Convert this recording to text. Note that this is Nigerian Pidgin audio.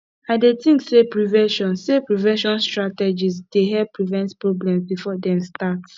i dey think say prevention say prevention strategies dey help prevent problems before dem start